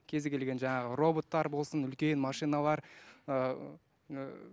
кез келген жаңағы роботтар болсын үлкен машиналар ыыы